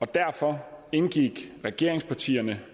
derfor indgik regeringspartierne